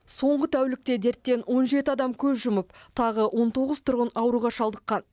соңғы тәулікте дерттен он жеті адам көз жұмып тағы он тоғыз тұрғын ауруға шалдыққан